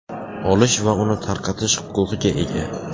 olish va uni tarqatish huquqiga ega.